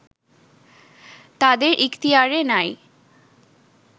তাদের ইখতিয়ারে নাই